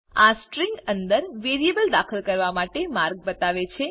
આ સ્ટ્રિંગ અંદર વેરિયેબલ દાખલ કરવા માટે માર્ગ બતાવે છે